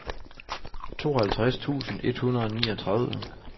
tooghalvtreds tusind et hundrede og niogtredive